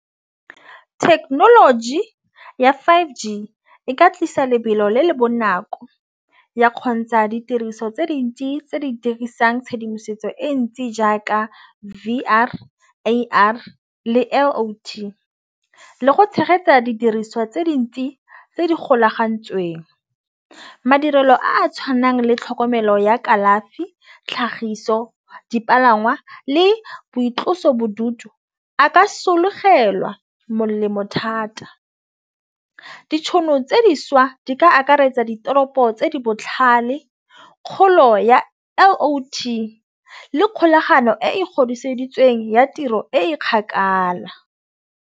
Thekenoloji ya five G e ka tlisa lebelo le le bonako ya kgontsha ditiriso tse dintsi tse di dirisang tshedimosetso e ntsi jaaka V_R le A_R le . Le go tshegetsa didiriswa tse dintsi tse di golagantsweng madirelo a tšhwanang le tlhokomelo ya kalafi tlhagiso dipalangwa le boitlosobodutu. A ka sologelwa molemo thata. Ditšhono tse dišwa di ka akaretsa ditoropo tse di botlhale kgolo ya le kgolagano e godisa tladitsweng ya tiro e kgakala.